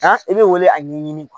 i bɛ wele a ɲɛɲini